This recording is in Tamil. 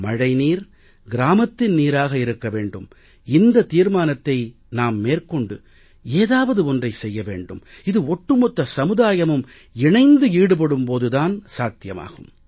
மழை நீர் கிராமத்தின் நீராக இருக்கும் இந்தத் தீர்மானத்தை நாம் மேற்கொண்டு ஏதாவது ஒன்றை செய்ய வேண்டும் இது ஒட்டுமொத்த சமுதாயமும் இணைந்து ஈடுபடும் போது தான் இது சாத்தியமாகும்